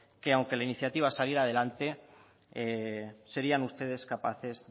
que aunque la iniciativa saliera adelante serían ustedes capaces